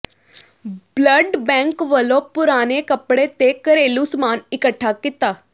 blood bank ਵੱਲੋਂ ਪੁਰਾਣੇ ਕੱਪੜੇ ਤੇ ਘਰੇਲੂ ਸਾਮਾਨ ਇਕੱਠਾ ਕੀਤਾ